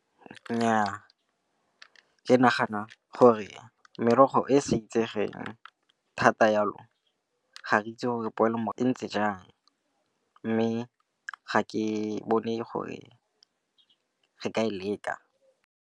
Nnyaa, ke nagana gore merogo e sa itsegeng thata yalo ga re itse gore e ntse jang, mme ga ke bone gore re ka e leka.